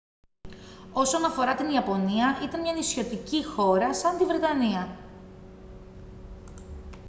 όσον αφορά την ιαπωνία ήταν μια νησιωτική χώρα σαν τη βρετανία